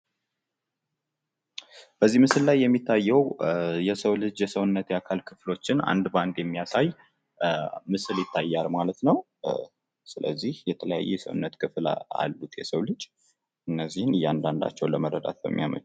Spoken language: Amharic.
በዚህ ምስል ላይ የሚታየው የሰው ልጅ የሰዉነት አካል ክፍሎችን አንድ በአንድ የሚያሳይ ምስል ይታያል ማለት ነው ፤ ስለዚህ የተለያዩ የሰውነት ክፍል አሉት የሰዉ ልጅ ፤ እነዚህን ለመረዳት በሚያስችል የቀረበ ነው።